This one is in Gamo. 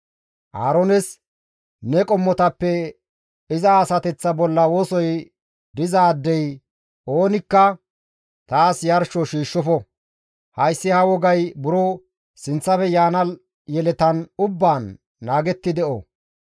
«Aaroones, ‹Ne qommotappe iza asateththaa bolla wosoy dizaadey oonikka taas yarsho shiishshofo; hayssi ha wogay buro sinththafe yaana yeletan ubbaan naagetti de7o.